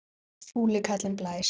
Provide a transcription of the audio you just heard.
Fúli kallinn blæs.